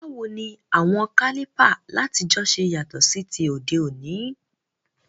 Báwoni àwon Kálìpà látijọ́ se yàtò sí ti òdé òní?